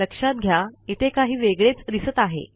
लक्षात घ्या इथे काही वेगळेच दिसत आहे